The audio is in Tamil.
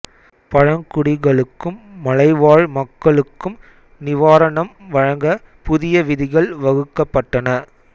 பழங்குடிகளுக்கும் மலைவாழ் மக்களுக்கும் நிவாரணம் வழங்க புதிய விதிகள் வகுக்கப்பட்டன